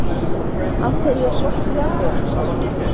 Af hverju er svarti jagúarinn svartur?